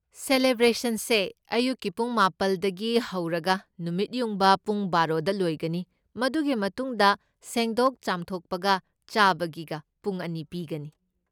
ꯁꯦꯂꯦꯕ꯭ꯔꯦꯁꯟꯁꯦ ꯑꯌꯨꯛꯀꯤ ꯄꯨꯡ ꯃꯥꯄꯜꯗꯒꯤ ꯍꯧꯔꯒ ꯅꯨꯃꯤꯠ ꯌꯨꯡꯕ ꯄꯨꯡ ꯕꯥꯔꯣꯗ ꯂꯣꯏꯒꯅꯤ, ꯃꯗꯨꯒꯤ ꯃꯇꯨꯡꯗ ꯁꯦꯡꯗꯣꯛ ꯆꯥꯝꯊꯣꯛꯄꯒ ꯆꯥꯕꯒꯤꯒ ꯄꯨꯡ ꯑꯅꯤ ꯄꯤꯒꯅꯤ꯫